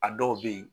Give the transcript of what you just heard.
A dɔw bɛ yen